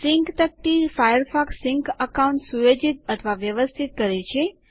sync તકતી Firefox sync account સુયોજિત અથવા વ્યવ્સ્થિત કરે છે